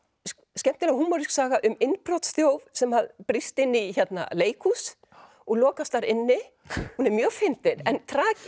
skemmtileg húmorísk saga um sem að brýst inn í leikhús og lokast þar inni hún er mjög fyndin en